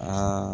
Aa